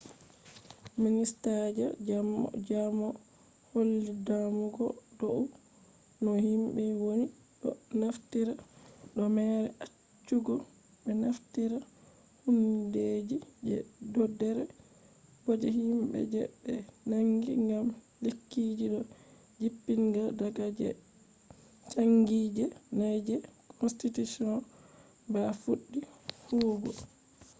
minista je jamoo holli damugo dou no himbe woni do naftira do mere acchugo be naftira hundeji je doder bo je himbe je be nangi gam lekkiji do jippinga daga de changi je na je constitution ba fuddi huwugo